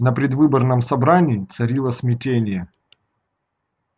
на предвыборном собрании царило смятение